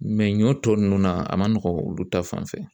ɲɔ tɔ ninnu na a ma nɔgɔn olu ta fan fɛ